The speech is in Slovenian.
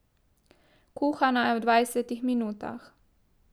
Kuhana je v dvajsetih minutah.